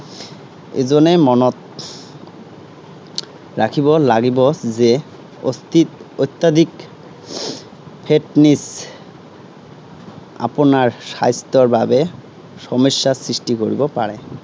এজনে মনত ৰাখিব লাগিব যে অধিক, অত্যাধিক fitness আপোনাৰ স্বাস্থ্যৰ বাবে সমস্যাৰ সৃষ্টি কৰিব পাৰে।